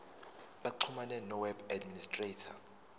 baxhumane noweb administrator